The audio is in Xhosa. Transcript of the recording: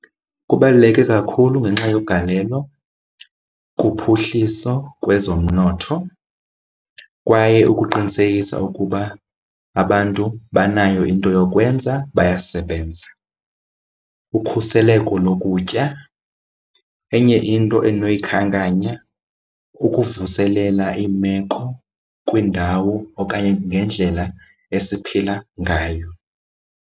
Kubaluleke kakhulu ngenxa yogalelo kuphuhliso kwezomnotho kwaye ukuqinisekisa ukuba abantu banayo into yokwenza bayasebenza, ukhuseleko lokutya. Enye into endinoyikhankanya kukuvuselela imeko kwiindawo okanye ngendlela esiphila ngayo.